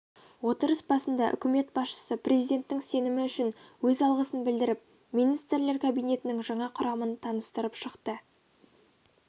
отырыс басында үкімет басшысы президенттің сенімі үшін өз алғысын білдіріп министрлер кабинетінің жаңа құрамын таныстырып шықты